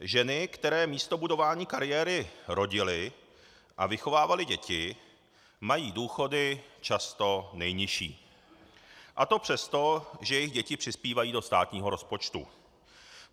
Ženy, které místo budování kariéry rodily a vychovávaly děti, mají důchody často nejnižší, a to přesto, že jejich děti přispívají do státního rozpočtu.